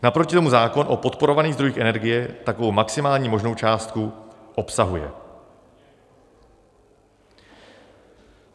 Naproti tomu zákon o podporovaných zdrojích energie takovou maximální možnou částku obsahuje.